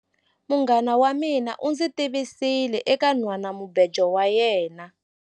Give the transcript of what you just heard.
Munghana wa mina u ndzi tivisile eka nhwanamubejo wa yena.